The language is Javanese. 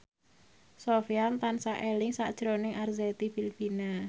Sofyan tansah eling sakjroning Arzetti Bilbina